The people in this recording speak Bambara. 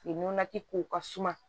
Nɔnɔ ti ko ka suma